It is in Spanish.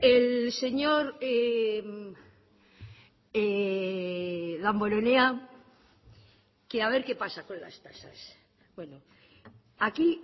el señor damborenea que a ver qué pasa con las tasas bueno aquí